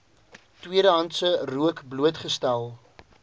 tweedehandse rook blootgestel